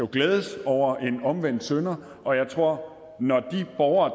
glædes over en omvendt synder og jeg tror at når de borgere